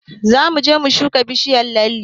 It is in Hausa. Zamu je mu shuka bishiyar lalle